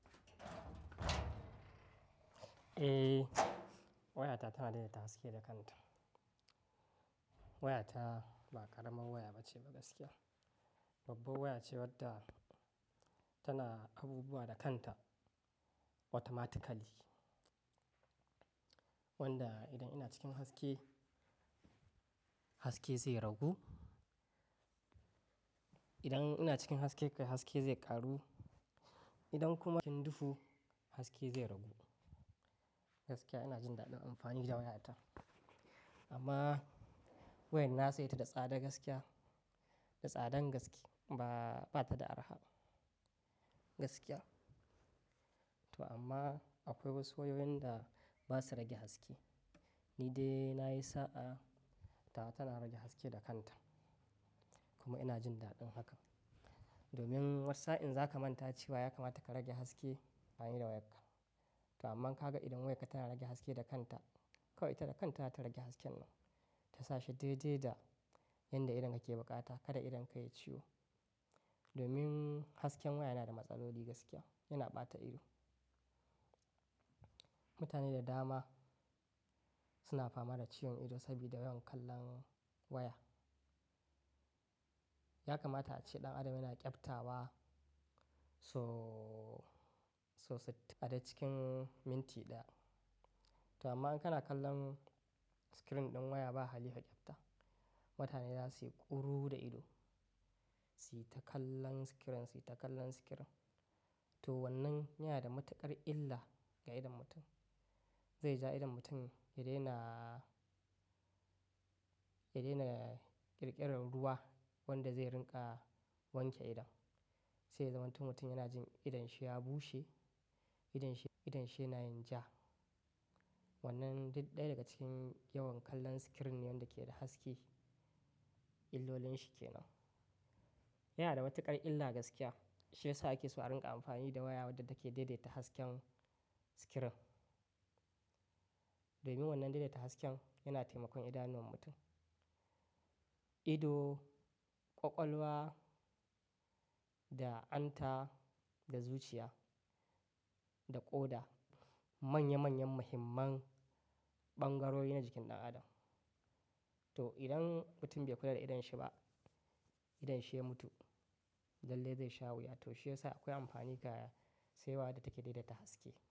Eh, wayata tana dai daita haske da kanta. Wayata ba karamar waya bace gaskiya. Babbar waya ce wadda tana abubuwa da kanta automatically. Wanda idan ina cikin haske, haske zai ragu. Idan ina cikin haske, haske zai ƙaru. Idan kuma cikin duhu, haske zai ragu. Gaskiya ina jin daɗin amfani da wayata. Amma wayar saye ta da tsada gaskiya, da tsadan gaske ba, bata da arha gaskiya. To amma akwai wasu wayoyin da basu rage haske. Ni dai na yi sa'a tawa, tana rage haske da kanta. Kuma ina jin daɗin haka. Domin wata sa'in za ka manta cewa ya kamata ka rage haske ayi da wayarka. To amma ka ga idan wayarka tana rage haske da kanta, kawai ita da kanta za ta rage hasken nan. Ta sa shi daidai da yadda idon ka ke bukata, kada idan ka yi ciwo. Domin hasken waya yana da matsaloli gaskiya, yana ɓata ido. Mutane da dama suna fama da ciwon ido sabida yawan kallon waya. Ya kamata a ce ɗan adam yana ƙyabta wa so, sosai a da cikin minti ɗaya. To amma in kana kallon screen din waya ba hali ka kifta. Mutane za su yi ƙuru da ido, su yi ta kallon screen, su yi ta kallon screen. To wannan yana da matuƙar illa ga idon mutum. Zai ja idon mutum ya daina, ya daina ƙirƙirar ruwa wanda zai rinƙa wanke idon. Sai zamanto mutum yana jin idonshe ya bushe, idonshe, idonshe yana yin ja. Wannan duk ɗaya daga cikin yawan kallon screen ne yanda ke da haske, illolin shi kenan. Yana da matuƙar illa gaskiya. Shiyasa ake so a rinƙa amfani da waya wadda take daidaita hasken screen. Domin wannan daidaita hasken yana taimakon idanuwan mutum. Ido, ƙwaƙwalwa da hanta da zuciya da ƙoda manya manyan muhimman ɓangarori ne jikin ɗan adam. To idan mutum bai kula da idonsa ba, idonshi ya mutu. Lalle zai sha wuya. To shi ya sa akwai amfani ga sai waya da take daidaita haske.